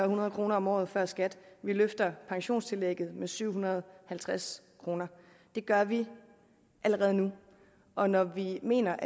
hundrede kroner om året før skat vi løfter pensionstillægget med syv hundrede og halvtreds kroner det gør vi allerede nu og når vi mener